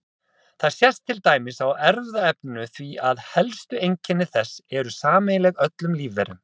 Það sést til dæmis á erfðaefninu því að helstu einkenni þess eru sameiginleg öllum lífverum.